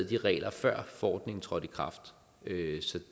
de regler før forordningen trådte i kraft så